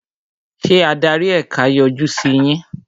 Ṣé adarí ẹ̀ka yọjú sí yín?